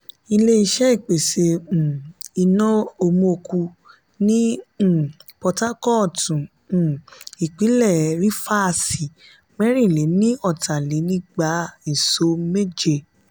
ilé-iṣé ìpèsè um iná omoku ní um potakootu um ìpínlè rifasi mẹrin-le-ni-ota-le-nigba iso mẹje.